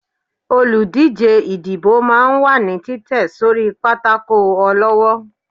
olúdijé ìdíbò máà ń wà ní Titẹ sorí pàtàkó olọwọ